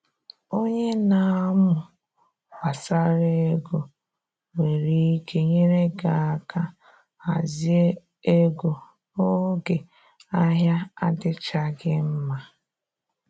Onye na amụ gbasara ego nwere ike nyere gị aka hazie ego n’oge ahịa adịchaghị mma